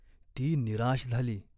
ती निराश झाली.